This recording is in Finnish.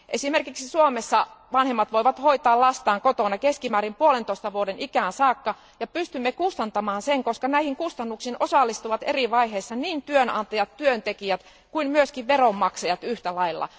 Esimerkiksi Suomessa vanhemmat voivat hoitaa lastaan kotona keskimäärin 1,5 vuoden ikään saakka ja pystymme kustantamaan sen, koska näihin kustannuksiin osallistuvat eri vaiheissa niin työnantajat, työntekijät kuin myös veronmaksajat yhtälailla.